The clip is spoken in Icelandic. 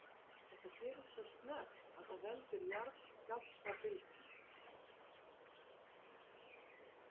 Þetta gerist svo snöggt að það veldur jarðskjálftabylgjum.